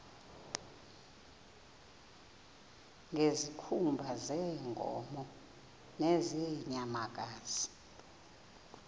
ngezikhumba zeenkomo nezeenyamakazi